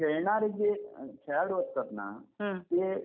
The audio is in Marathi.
खेळणारे जे खेळाडू असतात ना ते